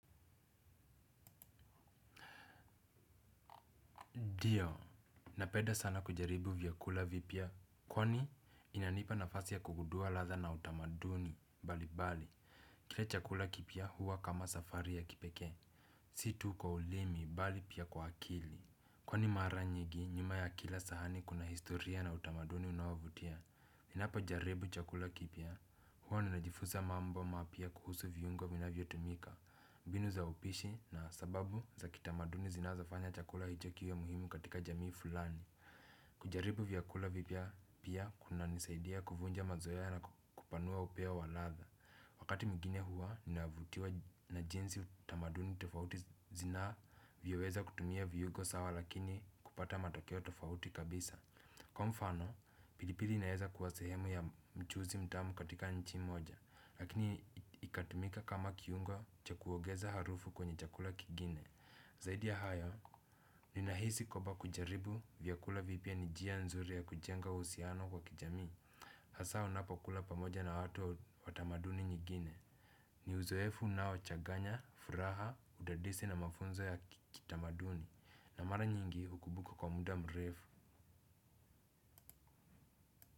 Dio. Napeda sana kujaribu vyakula vipya. Kwani inanipa nafasi ya kugudua ladha na utamaduni. Balibali. Kila chakula kipya huwa kama safari ya kipekee. Si tu kwa ulimi. Bali pia kwa akili. Kwani mara njigi nyuma ya kila sahani kuna historia na utamaduni unaovutia. Ninapojaribu chakula kipya. Huwa ninajifusa mambo mapya kuhusu vyungo vinavyotumika. Mbinu za upishi na sababu za kitamaduni zinazofanya chakula hicho kiwe muhimu katika jamii fulani. Kujaribu vyakula vipya pia kunanisaidia kuvunja mazoea na kupanua upeo wa ladha. Wakati mwingine huwa, ninavutiwa na jinsi utamaduni tofauti zinavyoweza kutumia viugo sawa lakini kupata matokeo tofauti kabisa. Kwa mfano, pilipili inaeza kuwa sehemu ya mchuzi mtamu katika nchi moja. Lakini ikatumika kama kiungo cha kuogeza harufu kwenye chakula kigine. Zaidi ya hayo ninahisi kwaba kujaribu vyakula vipya ni jia nzuri ya kujenga uhusiano kwa kijamii hasa unapokula pamoja na watu wa tamaduni nyigine ni uzoefu unaochaganya, furaha, udadisi na mafunzo ya kitamaduni na mara nyingi ukubuka kwa muda mrefu.